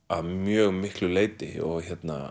að mjög miklu leyti og